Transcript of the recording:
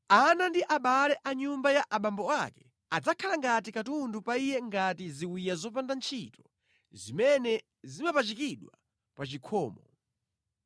Ana ndi abale a nyumba ya abambo ake adzakhala ngati katundu pa iye ngati ziwiya zopanda ntchito zimene zapachikidwa pa chikhomo.